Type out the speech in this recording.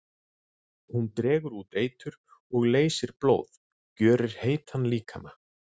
Hún dregur út eitur og leysir blóð, gjörir heitan líkama.